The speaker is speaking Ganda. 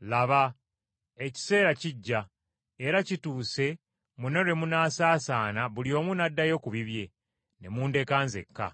Laba, ekiseera kijja, era kituuse mwenna lwe munaasaasaana buli omu n’addayo ku bibye, ne mundeka nzekka.